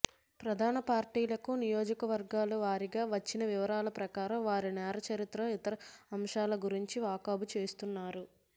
ప్రధాన పార్టీలకు నియోజకవర్గాల వారీగా వచ్చిన వివరాల ప్రకారం వారి నేర చరిత్ర ఇతర అంశాల గురించి వాకబు చేస్తున్నారు